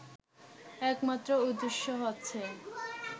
একমাত্র উদ্দেশ্য হচ্ছে